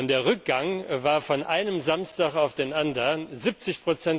Der Rückgang war von einem Samstag auf den anderen 70.